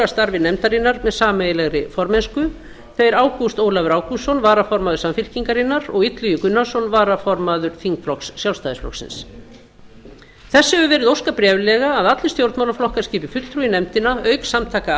starfi nefndarinnar með sameiginlegri formennsku þeir ágúst ólafur ágústsson varaformaður samfylkingarinnar og illugi gunnarsson varaformaður þingflokks sjálfstæðisflokksins þess hefur verið óskað bréflega að allir stjórnmálaflokkar skipi fulltrúa í nefndina auk samtaka